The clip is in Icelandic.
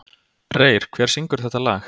Reyr, hver syngur þetta lag?